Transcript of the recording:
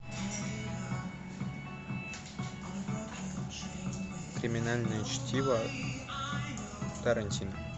криминальное чтиво тарантино